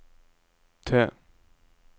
T